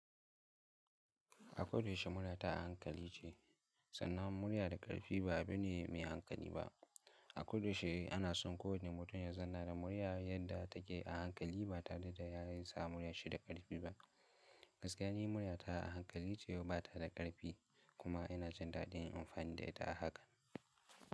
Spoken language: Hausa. A koda yaushe murya ta a hankali ce, sannan murya da ƙarfi ba abu ne mai hankali ba. A koda yaushe ana son kowane mutum ya zanna da murya yadda take a hankali ba tare da yasa murya shi da ƙarfi ba. Gaskiya ni murya ta a hankali ce batada ƙarfi. Kuma ina jin daɗin amfanin da ita a haka.